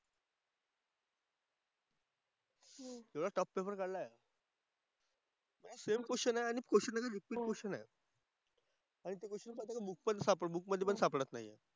सरळ tough paper काढलाय. Same question आहे आणि क्वेश्चन आहे ना रिपीट क्वेश्चन आहे. आणि तो क्वेश्चन कसा ना तो बुक पण बुक मधे पण सापडत नाही आहे.